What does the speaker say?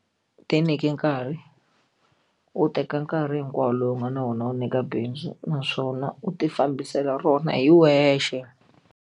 Tinyike nkarhi u teka nkarhi hinkwawo lowu nga na wona wu nyika bindzu naswona u tifambisela rona hi wexe.